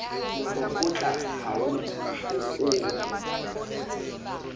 moro kgotla ha o okolwe